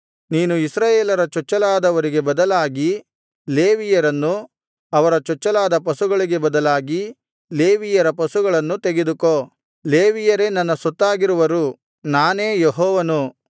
ನೀನು ಇಸ್ರಾಯೇಲರ ಚೊಚ್ಚಲಾದವರಿಗೆ ಬದಲಾಗಿ ಲೇವಿಯರನ್ನು ಅವರ ಚೊಚ್ಚಲಾದ ಪಶುಗಳಿಗೆ ಬದಲಾಗಿ ಲೇವಿಯರ ಪಶುಗಳನ್ನು ತೆಗೆದುಕೋ ಲೇವಿಯರೇ ನನ್ನ ಸೊತ್ತಾಗಿರುವರು ನಾನೇ ಯೆಹೋವನು